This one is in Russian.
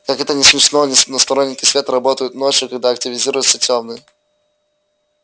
как это ни смешно но сторонники света работают ночью когда активизируются тёмные